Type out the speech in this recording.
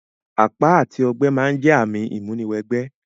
Àpá àti ogbẹ́ ma n jẹ ààmì ìmúni wẹ gbẹ́